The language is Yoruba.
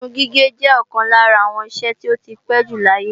Irun gígé jẹ́ ọ̀kan lára àwọn iṣẹ́ tí ó ti pé jù láyé